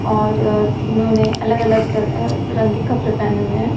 और तीनों ने अलग अलग रंग के कपड़े पेहने हुए हैं।